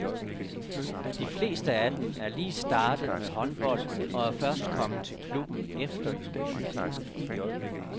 De fleste af dem er lige startet med håndbold og er først kommet til klubben efter jul.